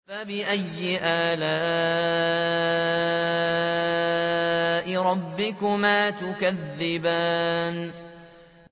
فَبِأَيِّ آلَاءِ رَبِّكُمَا تُكَذِّبَانِ